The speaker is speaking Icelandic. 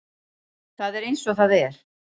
Það er eins og það er.